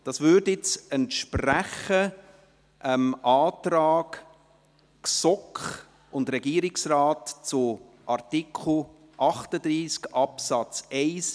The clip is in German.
Bei mir entspricht dies nun dem Antrag GSoK und Regierungsrat zu Artikel 38 Absatz 1